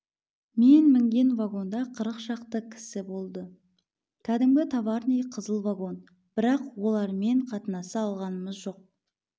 мен мінген вагонда қырық шақты кісі болды кәдімгі товарный қызыл вагон бірақ олармен қатынаса алғамыз жоқ